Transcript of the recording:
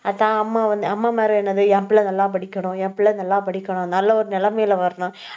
அதான் அம்மா வந்து அம்மாமாரு என்னது என் பிள்ளை நல்லா படிக்கணும். என் பிள்ளை நல்லா படிக்கணும். நல்ல ஒரு நிலைமையில வரணும்